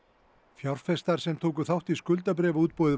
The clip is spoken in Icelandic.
fjárfestar sem tóku þátt í skuldabréfaútboði